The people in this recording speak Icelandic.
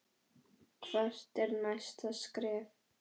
Hvert er næsta skref?